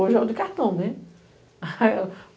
Hoje é o de cartão.